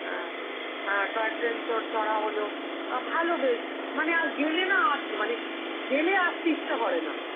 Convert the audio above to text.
হ্যাঁ, অ্যাঁ toy train তোর চ~ চড়া হলো, আ ভালো বেশ, মানে আর গেলে না আ~, মানে গেলে আর আসতে ইচ্ছা করে না.